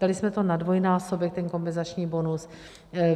Dali jsme to na dvojnásobek, ten kompenzační bonus.